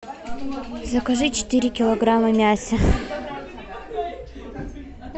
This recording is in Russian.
закажи четыре килограмма мяса